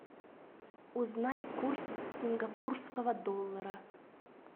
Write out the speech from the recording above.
узнай курс сингапурского доллара